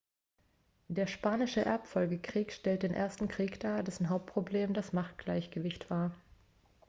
der spanische erbfolgekrieg stellt den ersten krieg dar dessen hauptproblem das machtgleichgewicht war